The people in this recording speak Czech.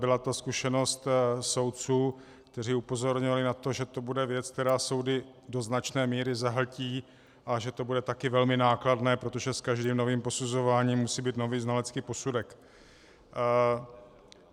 Byla to zkušenost soudců, kteří upozorňovali na to, že to bude věc, která soudy do značné míry zahltí, a že to bude také velmi nákladné, protože s každým novým posuzováním musí být nový znalecký posudek.